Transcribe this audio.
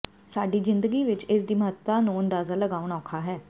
ਸਾਡੀ ਜਿੰਦਗੀ ਵਿਚ ਇਸ ਦੀ ਮਹੱਤਤਾ ਨੂੰ ਅੰਦਾਜ਼ਾ ਲਗਾਉਣਾ ਔਖਾ ਹੈ